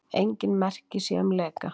Engin merki séu um leka